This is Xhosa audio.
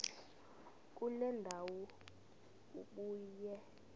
kule ndawo ubuye